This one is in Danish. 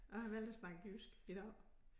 Og jeg har valgt at snakke jysk i dag